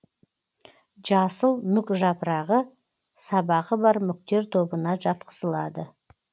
жасыл мүк жапырағы сабағы бар мүктер тобына жатқызылады